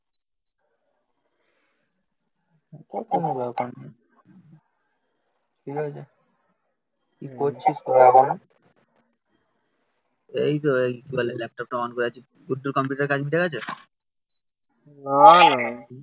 ওটা ব্যাপার নই ঠিক আছে কি করছিস তোরা ওখানে এই তো এই কি বলে ল্যাপটপটা অন করে আছি গুড্ডুর কম্পিউটার কাজ মিটে গেছে না না